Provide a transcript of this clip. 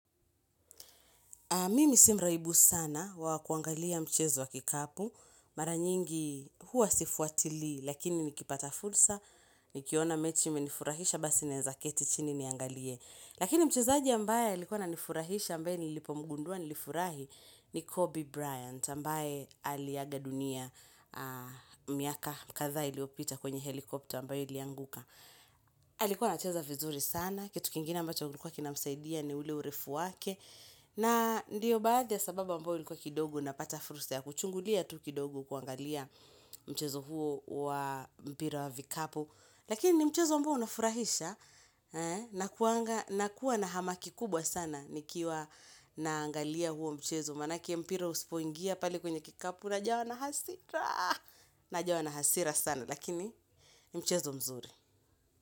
Mimi si mraibu sana wa kuangalia mchezo wa kikapu. Mara nyingi huwa sifuatilii, lakini nikipata fursa, nikiona mechi imenifurahisha, basi naweza keti chini niangalie. Lakini mchezaji ambaye alikuwa ananifurahisha ambaye nilipomgundua nilifurahi ni Kobe Bryant ambaye aliaga dunia miaka kadha iliopita kwenye helikopta ambaye ilianguka. Alikuwa anacheza vizuri sana kitu kingine ambacho kilikuwa kinamsaidia ni ule urefu wake na ndiyo baadhi ya sababu ambao kidogo ilikuwa kidogo napata fursa ya kuchungulia tu kidogo tu kuangalia mchezo huo wa mpira wa vikapu Lakini ni mchezo ambao unafurahisha nakuwa na hamaki kubwa sana nikiwa naangalia huo mchezo maanake mpira usipoingia pale kwenye kikapu unajawa na hasira Najawa na hasira sana lakini ni mchezo mzuri.